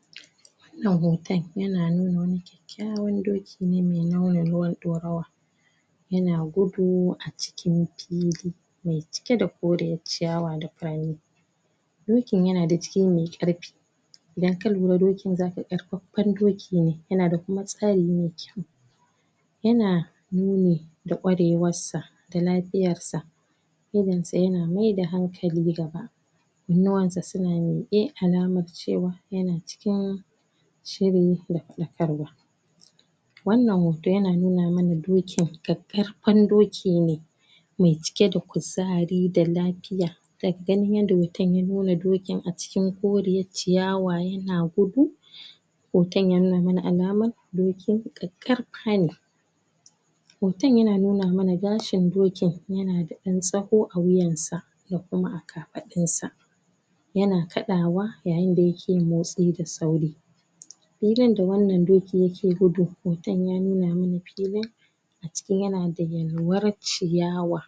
? Wana hoton ya na nuna kilode doki ne mai laune ruwan ɗorawa yana gudu acikin fili mai cike da koriyar ciyawa da furanni dokin yana da jiki mai karfe, da kyan na doki zaka gan karfe karfafa doki ne yanada kuma tsare mai kyau yana nune warewa sa da lafiyar sa idon sa yana mai da hankali nan gaba kanuwan sa suna mike alaman cewa yana cikin shirri da fadakarwa Wana hoto yana nuna mana dokin karfafa doki ne mai cike da kuzari da lafiya lafiya, daga ganin yanda hoton yanuna dokin acikin Koriyar ciyawa yana gudu, hoton yanuna mana alaman dokin karfafa ne hoton yana nuna mana gashin dokin yana da ɗan tsaho a wiyansa da kuma a kafadun sa yana kaɗawa yayin da yake motsi da sauri? filin da Wana dokin yake gudu hoton ya nuna mana Wana filin aciki yana yalwar ciyawa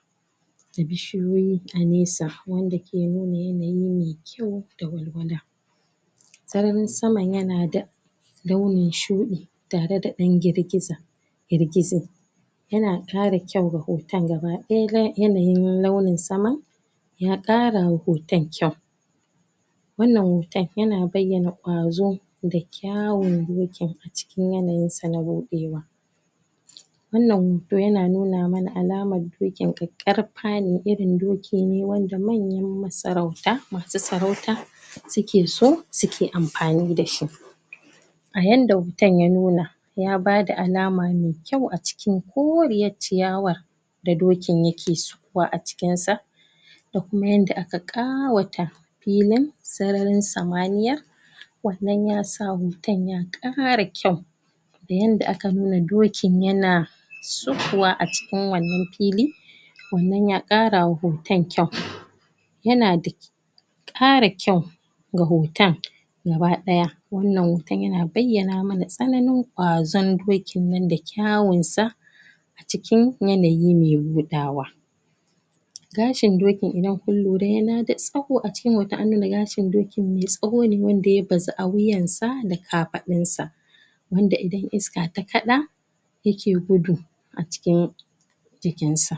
da bishiyoyi a naisa Wanda ke nuna yanayi mai kyau da walwala sararin sama yana da laune shuɗe tare da ɗan girgiza girgiza yana kara kyau ga hoton ga ba ɗaya yana yin laune saman ya kara wa hoton kyau wana hoton ya na bayana kwazo da kyawon dokin acikin yana yinsa na buɗe wa? wana hoto yana nuna mana alamar dokin karfafa ne irin doki ne wanda manyan masarauta masu sarauta suke so suke amfani dashi a yanda hoton ya nuna ya bada alama mai kyau acikin Koriyar ciyawa da dokin yake sowa acikin sa da kuma yanda aka ƙawata filin sararin samaniya Wana yasa hoton ya kara kyau yanda aka nuna dokin yana aukuwa acikin wanan fili Wana yakara wa hoton kyau yana da kara kyau da rohotan kaba daya Wana hoton yana bayana ma na tsanani kwazon dokin na da kyaunsa acikin yana yi mai ruɗawa, gashin dokin idan kun lura yana da tsawo, ace anuna gashin da dokin mai tsaho ne wanda ya bazu a wiyansa da kafadun sa wanda idan iska ta kaɗa yake gudu acikin jikinsa